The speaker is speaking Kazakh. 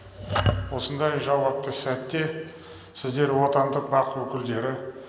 осындай жауапты сәтте сіздер отандық бақ өкілдері